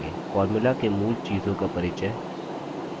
formula के मूल चीजों का परिचय